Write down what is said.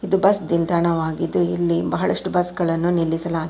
bus ನಿಲ್ದಾಣವಾಗಿದ್ದು ಇಲ್ಲಿ ಬಳಷ್ಟು ಬಸ್ ಗಳನ್ನು ನಿಲ್ಲಿಸ--